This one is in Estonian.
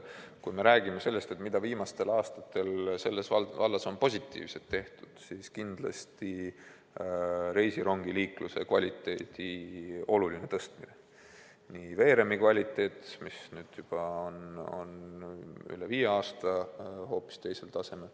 Kui me räägime sellest, mida viimastel aastatel on selles vallas positiivset tehtud, siis kindlasti reisirongiliikluse kvaliteedi olulist tõstmist: näiteks veeremi kvaliteet, mis nüüd on juba üle viie aasta hoopis teisel tasemel.